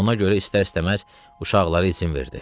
Ona görə istər-istəməz uşaqları izin verdi.